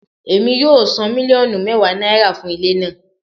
Emi yoo san miliọnu mẹwa naira fun ile naa